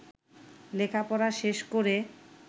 লেখাপড়া শেষ করে